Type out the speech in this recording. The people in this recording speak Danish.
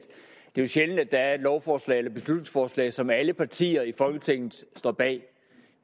det jo er sjældent at der er et lovforslag eller beslutningsforslag som alle partier i folketinget står bag